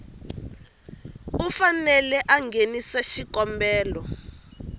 u fanele a nghenisa xikombelo